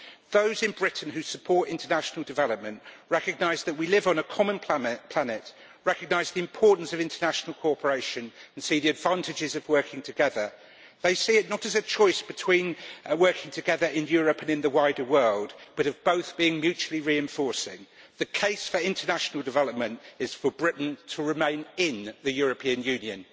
Those in Britain who support international development recognise that we live on a common planet, they recognise the importance of international cooperation and see the advantages of working together. They see it not as a choice between working together in Europe and in the wider world, but of both being mutually reinforcing. The case for international development is for Britain to remain in the European Union.